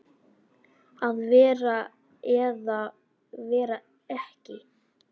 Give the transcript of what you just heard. Að vera eða vera ekki.